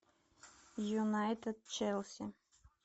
юнайтед челси